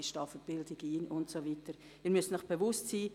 Ich stehe für die Bildung ein, und Sie müssen sich bewusst sein: